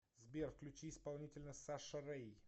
сбер включи исполнителя саша рэй